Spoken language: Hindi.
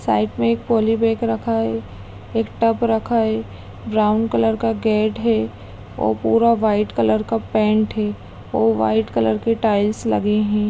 साइड में एक पॉली बैग रखा है एक टब रखा है ब्राउन कलर का गेट है और पूरा व्हाइट कलर का पेंट है और व्हाइट कलर की टाइल्स लगे हैं।